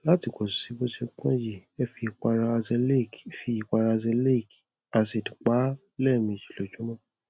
láti pètù sí bó ṣe pọn yìí ẹ fi ìpara azelaic fi ìpara azelaic acid pa á lẹẹmejì lójúmọ